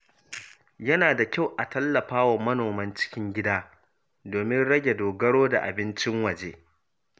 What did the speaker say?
Yana da kyau a tallafa wa manoman cikin gida domin rage dogaro da abincin waje.